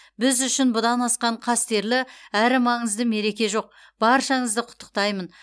біз үшін бұдан асқан қастерлі әрі маңызды мереке жоқ баршаңызды құттықтаймын